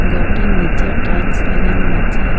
ঘরটির নিচে টাইলস লাগানো আছে।